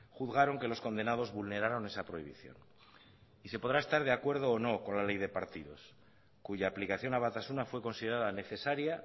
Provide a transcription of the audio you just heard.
juzgaron que los condenados vulneraron esa prohibición y se podrá estar de acuerdo o no con la ley de partidos cuya aplicación a batasuna fue considerada necesaria